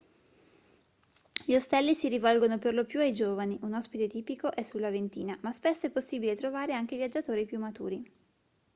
gli ostelli si rivolgono per lo più ai giovani un ospite tipico è sulla ventina ma spesso è possibile trovare anche viaggiatori più maturi